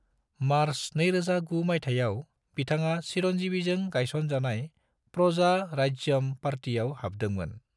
March 2009 मायथायाव, बिथाङा चिरंजीवीजों गायसन जानाय प्रजा राज्यम पार्टीयाव हाबदोंमोन।